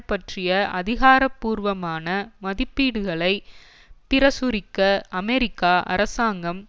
பற்றிய அதிகாரபூர்வமான மதிப்பீடுகளை பிரசுரிக்க அமெரிக்கா அரசாங்கம்